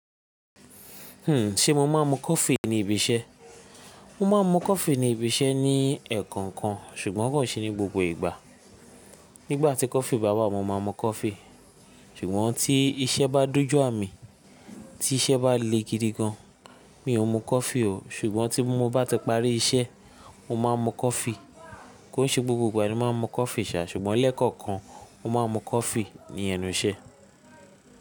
Hmm, ṣe mo máa ń mu coffee ní ibi iṣẹ́? Mo máa ń mu coffee ní ibi iṣẹ́ ní ẹ̀ẹ̀kọ̀kan ṣùgbọ́n kò se ní gbogbo ìgbà. Nígbà tí coffee bá wà mo máa mu coffee ṣùgbọ́n tí iṣẹ́ bá dojú à mi, tí iṣẹ́ bá le gidi gan, mi ò mú coffee o. Ṣùgbọ́n tí mo bá ti parí iṣẹ́, mo máa mu coffee. Kó ṣe gbogbo ìgbà ni mo máa ń mu coffee sà, ṣùgbọ́n lẹ́ẹ̀kọ̀kan mo máa mu coffee ní ẹnu iṣẹ́.